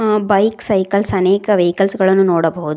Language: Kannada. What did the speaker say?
ಆ ಬೈಕ್ ಸೈಕಲ್ಸ್ ಅನೇಕ ವೆಹಿಕಲ್ಸ್ ಗಳನ್ನು ನೋಡಬಹುದು.